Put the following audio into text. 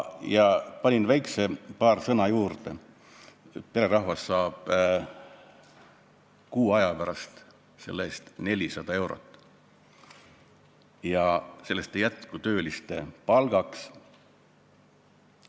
Ma panin paar sõna ka juurde, et pererahvas saab kuu aja pärast selle eest 400 eurot, millest ei jätku tööliste palgaks.